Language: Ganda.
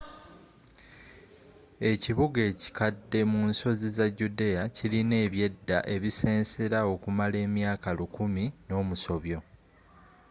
ekibuga ekikadde munsozi za judea kilina ebyedda ebisensera okumala emyaaka lukumi nomusobyo